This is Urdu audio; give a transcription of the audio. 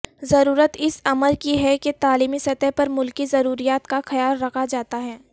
ضرورت اس امر کی ہے کہ تعلیمی سطح پر ملکی ضروریات کا خیال رکھا جائے